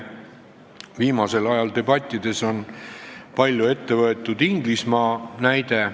Viimasel ajal on debattides palju ette võetud Inglismaa näidet.